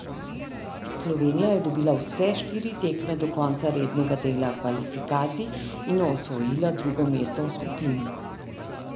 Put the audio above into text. Slovenija je dobila vse štiri tekme do konca rednega dela kvalifikacij in osvojila drugo mesto v skupini.